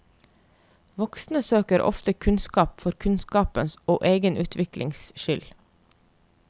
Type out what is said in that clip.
Voksne søker ofte kunnskap for kunnskapens og egen utviklings skyld.